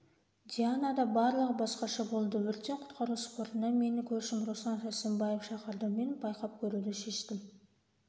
дианада барлығы басқаша болды өрттен-құтқару спортына мені көршім руслан сарсембаев шақырды мен байқап көруді шештім